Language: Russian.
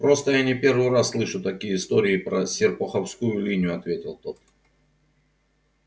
просто я не первый раз слышу такие истории про серпуховскую линию ответил тот